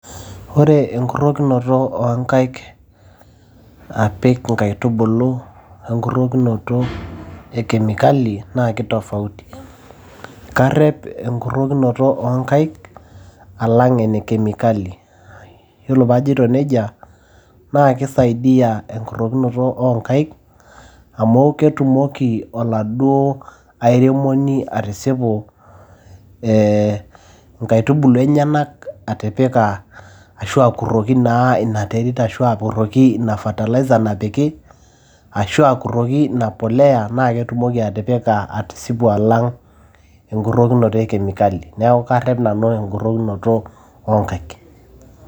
Ore enkurokinoto oonkaik, apik inkaitubulu apik enkuroto ekemikali naa keitafauti, kareo enkurokinoto oonkaik alang' enekemikali. Iyiolo pee ajoito neija naa keisaidia enkurokinoto oonkaik amu ketumoki oladuo airemoni atisipi ee inkaitubulu enyenak atipika ashu akuroki naa ina terit ashu akuroki ina fertilizer napiki ashu akuroki ina mpolea naa ketumoki atipika atisipi alang' enkurokinoto ekemilkali,. Neaku karep nanu enkurokinoto oonkaik.